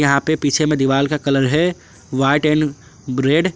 यहां पे पीछे में दीवार का कलर है व्हाइट एंड रेड ।